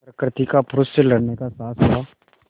प्रकृति का पुरुष से लड़ने का साहस हुआ